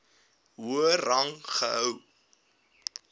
hoër rang gehou